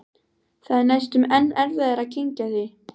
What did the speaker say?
Það er næstum enn erfiðara að kyngja því.